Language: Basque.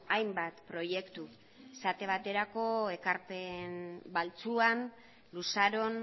hainbat proiektu esate baterako ekarpen baltzuan luzaron